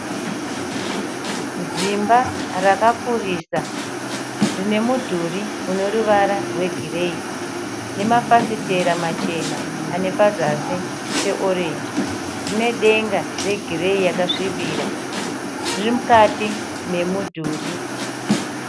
Zimba rakakurisa rine mudhurii une ruvara rwe gireyi , nemafafitera machena ane pazasi pe orenji. Rine denga regireyi yakasvibira. Riri mukati memudhuri.